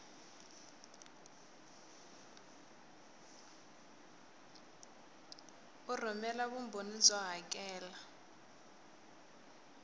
u rhumela vumbhoni byo hakela